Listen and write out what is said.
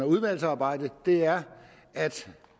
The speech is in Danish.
udvalgsarbejdet er at